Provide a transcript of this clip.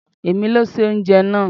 È mi ló se oúnjẹ náà.